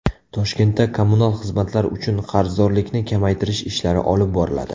Toshkentda kommunal xizmatlar uchun qarzdorlikni kamaytirish ishlari olib boriladi.